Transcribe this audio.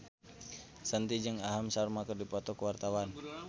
Shanti jeung Aham Sharma keur dipoto ku wartawan